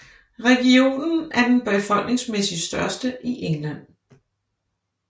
Regionen er den befolkningsmæssigt største i England